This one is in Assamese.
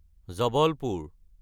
জৱলপুৰ